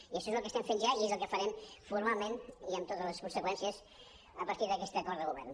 i això és el que estem fent ja i és el que farem formalment i amb totes les conseqüències a partir d’aquest acord de govern